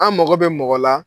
An mɔgɔ bɛ mɔgɔ la